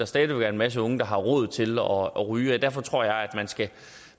stadig være en masse unge der har råd til at ryge og derfor tror jeg at